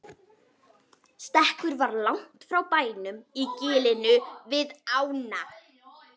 Stekkurinn var langt frá bænum í gilinu við ána.